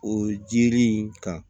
O jiri in kan